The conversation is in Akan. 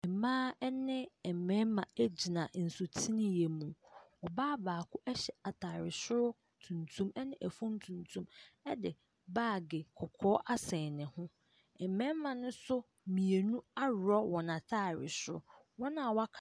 Mmaa ne mmarima gyina nsuteneɛ mu. Ɔbaa baako hyɛ atare soro tuntum ne fam tuntum de baage kɔkɔɔ asɛn ne ho. Mmarima no nso mmienu aworɔ wɔn atare soro. Wɔn a wɔak .